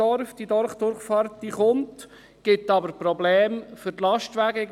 Die Dorfdurchfahrt wird kommen, es gibt jedoch Probleme für die Lastwagen.